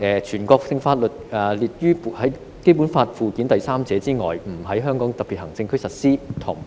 全國性法律除列於本法附件三者外，不在香港特別行政區實施。